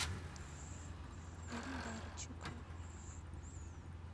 эльдарчика